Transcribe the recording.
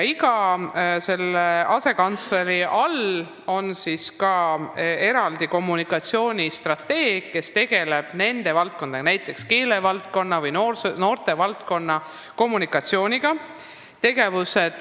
Iga asekantsleri alluvuses töötab eraldi kommunikatsioonistrateeg, kes tegeleb vastavate valdkondade, näiteks keelevaldkonna või noortevaldkonna kommunikatsiooniga.